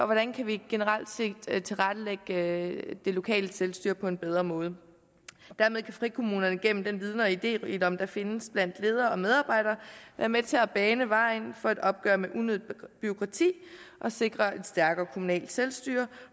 hvordan kan vi generelt set tilrettelægge det lokale selvstyre på en bedre måde dermed kan frikommunerne gennem den viden og iderigdom der findes blandt ledere og medarbejdere være med til at bane vejen for et opgør med unødigt bureaukrati og sikre et stærkere kommunalt selvstyre